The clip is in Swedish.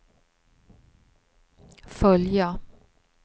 följa